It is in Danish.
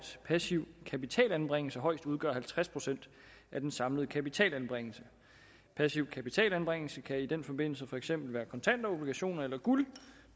passiv kapitalanbringelse højst udgør halvtreds procent af den samlede kapitalanbringelse passiv kapitalanbringelse kan i den forbindelse for eksempel være kontanter obligationer eller guld